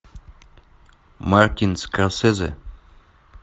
мартин скорсезе